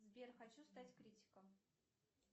сбер хочу стать критиком